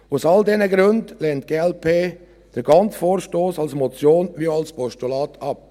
Aus all diesen Gründen lehnt die glp den ganzen Vorstoss als Motion wie auch als Postulat ab.